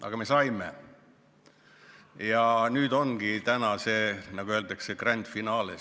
Aga me saime ja täna ongi see, nagu öeldakse, grande finale.